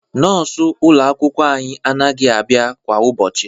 Nọọsụ ụlọ akwụkwọ anyị anaghị abịa kwa ụbọchị